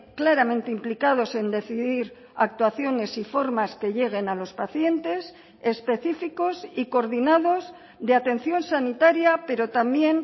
claramente implicados en decidir actuaciones y formas que lleguen a los pacientes específicos y coordinados de atención sanitaria pero también